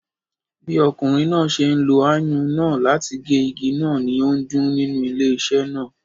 Bí ọkùnrin náà ṣe ń lo ayùn náà láti gé igi náà, ni ó ń dún nínú ilé iṣé náà.